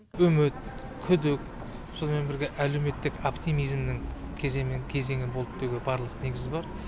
үміт күдік сонымен бірге әлеуметтік оптимизмнің кезеңі болды деуге барлық негіз бар